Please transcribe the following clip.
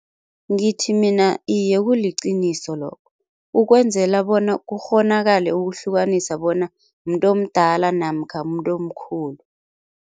Ngithi mina iye kuliqiniso lokho ukwenzela bona kukghonakale ukuhlukanisa bona muntu omdala namkha muntu omkhulu.